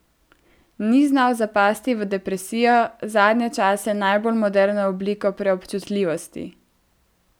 Ni znal zapasti v depresijo, zadnje čase najbolj moderno obliko preobčutljivosti.